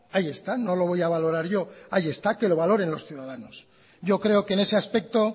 ahí está no lo voy a valorar yo ahí está que lo valoren los ciudadanos yo creo que en ese aspecto